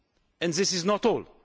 And this is not all.